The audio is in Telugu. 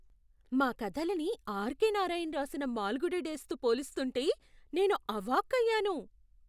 మా కథలని ఆర్. కె. నారాయణ్ రాసిన మాల్గుడి డేస్తో పోలుస్తుంటే నేను అవాక్కయ్యాను !